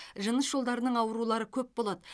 жыныс жолдарының аурулары көп болады